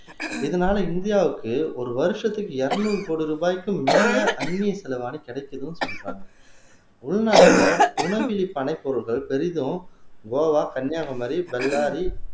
இதனால இந்தியாவுக்கு ஒரு வருஷத்துக்கு இருநூறு கோடி ரூபாய்க்கும் மேல அந்நிய செலவாணி கிடைக்குதுன்னு சொல்றாங்க உள்நாட்டுல உணவில் பனைப் பொருட்கள் பெரிதும் கோவா கன்னியாகுமரி பெல்லாரி